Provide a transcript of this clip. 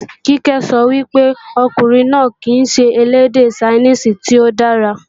Kíkẹ́ sọ wípé, ọkùnrin náà kìí ṣe elédè Ṣainíìsì tí ó dára